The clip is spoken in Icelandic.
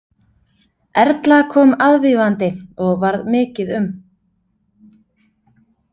Erla kom aðvífandi og varð mikið um.